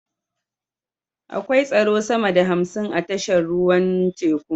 Akwai tsaro sama da hamsin a tashar ruwan teku